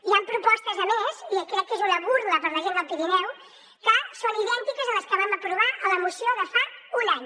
hi han propostes a més i crec que és una burla per a la gent del pirineu que són idèntiques a les que vam aprovar a la moció de fa un any